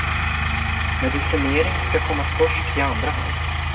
Medicinering ska komma först i andra hand.